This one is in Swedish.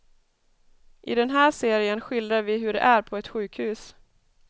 I den här serien skildrar vi hur det är på ett sjukhus.